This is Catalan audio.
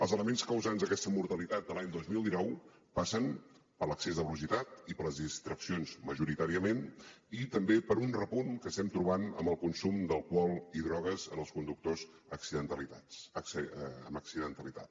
els elements causants d’aquesta mortalitat de l’any dos mil dinou passen per l’excés de velocitat i per les distraccions majoritàriament i també per un repunt que estem trobant en el consum d’alcohol i drogues en els conductors amb accidentalitat